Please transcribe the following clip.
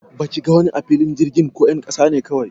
Baki ka gani a filin jirgin ko 'yan kasa ne kawai?